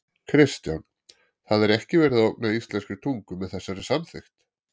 Kristján: Það er ekki verið að ógna íslenskri tungu með þessari samþykkt?